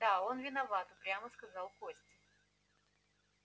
да он виноват упрямо сказал костя